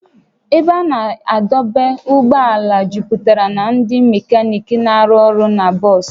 Ebe a na-adọba ụgbọala juputara na ndị mekaniiki na-arụ ọrụ na bọs